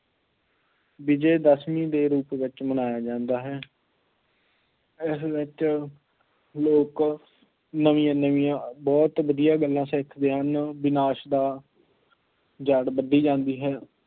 ਵਿਜੇਦਸ਼ਮੀ ਦੇ ਰੂਪ ਵਿੱਚ ਮਨਾਇਆ ਜਾਂਦਾ ਹੈ, ਇਸ ਵਿੱਚ ਲੋਕ ਨਵੀਂਆਂ ਨਵੀਂਆਂ ਬਹੁਤ ਵਧੀਆਂ ਗੱਲਾਂ ਸਿੱਖਦੇ ਹਨ, ਵਿਨਾਸ਼ ਦਾ ਜੜ੍ਹ ਵੱਡੀ ਜਾਂਦੀ ਹੈ।